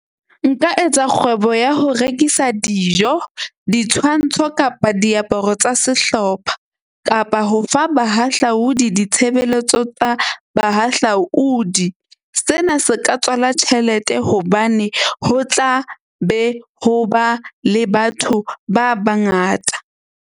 Nka etsa kgwebo ya ho rekisa dijo, ditshwantsho kapa diaparo tsa sehlopha kapa ho fa bahahlaudi ditshebeletso tsa bahahlaudi. Sena se ka tswala tjhelete hobane ho tla be ho ba le batho ba bangata.